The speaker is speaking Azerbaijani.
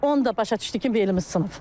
Onda başa düşdük ki, velimiz sınıb.